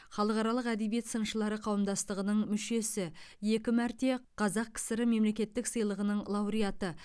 халықаралық әдебиет сыншылары қауымдастығының мүшесі екі мәрте қазақ кср мемлекеттік сыйлығының лауреаты